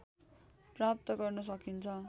प्राप्त गर्न सकिन्छ